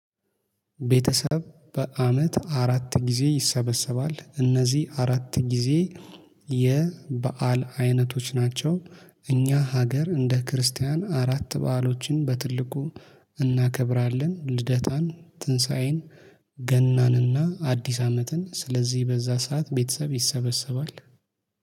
ቤተሰብ በአመት አራት ጊዜ ይሰበሰባል እነዚህ አራት ጊዜ የበአል አይነቶች ናቸው። እኛ ሀገር እንደ ክርስቲያን አራት በአሎችን በትልቁ እናከብራለን። ልደታን ትንሳኤን ገናንና አዲስ አመትን ስለዚህ በዛ ሰዓት ቤተሰብ ይሰበሰባል